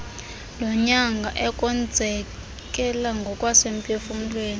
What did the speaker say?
lonyango ekonzakaleni ngokwasemphufumlweni